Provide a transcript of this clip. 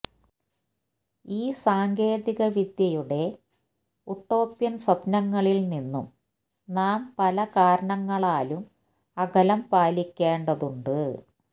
ഈ സാങ്കേതിക വിദ്യയുടെ ഉട്ടോപ്യന് സ്വപ്നങ്ങളില് നിന്നും നാം പല കാരണങ്ങളാലും അകലം പാലിക്കേണ്ടതുണ്ട്